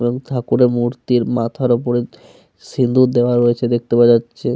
এবং ঠাকুরের মূর্তির মাথার ওপরে সিঁদুর দেওয়া আছে দেখতে পাওয়া যাচ্ছে।